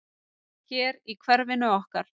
Hér í hverfinu okkar?